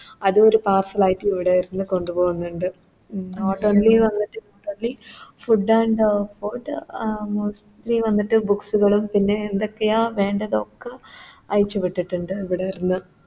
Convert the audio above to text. അതും ഒരു Powerfull ആയിട്ട് ഇവിടെര്ന്ന് കൊണ്ടു പോവുന്നുണ്ട് Food and food mostly വന്നിട്ട് Books കളും പിന്നെ എന്തൊക്കെയാ വേണ്ടത് അയച്ച് വിട്ടിട്ടുണ്ട് ഇവിടെ ഇരുന്ന്